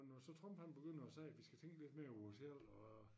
Når så Trump han begynder at sige at vi skal tænke lidt mere på os selv og